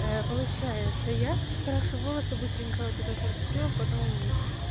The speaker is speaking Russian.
получается я крашу волосы быстренько вот это вот же всё потом